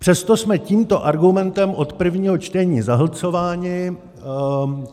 Přesto jsme tímto argumentem od prvního čtení zahlcováni.